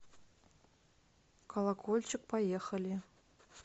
колокольчик поехали